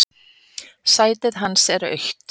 Sætið hans autt.